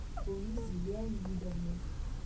луизе леонидовне